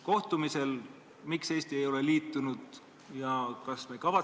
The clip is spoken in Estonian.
Hõreasustusega piirkondades on seda keeruline korraldada, sest objektiivsetel põhjustel on ühiku hind paratamatult kõrgem.